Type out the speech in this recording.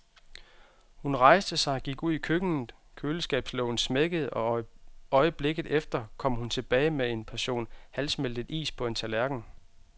Hun rejste sig og gik ud i køkkenet, køleskabslågen smækkede og øjeblikket efter kom hun tilbage med en portion halvsmeltet is på en tallerken.